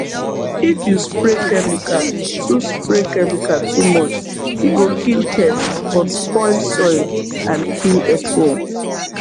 if you spray chemical too spray chemical too much e go kill pest but spoil soil and kill earthworm